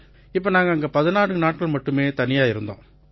இப்ப நாங்க அங்க 14 நாட்கள் மட்டுமே தனியா இருந்தோம்